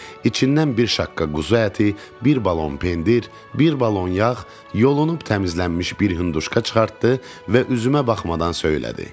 İçindən bir şaqqa quzu əti, bir balon pendir, bir balon yağ, yolunub təmizlənmiş bir hinduşka çıxartdı və üzümə baxmadan söylədi.